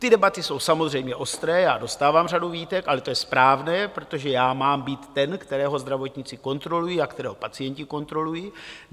Ty debaty jsou samozřejmě ostré, já dostávám řadu výtek, ale to je správné, protože já mám být ten, kterého zdravotníci kontrolují a kterého pacienti kontrolují.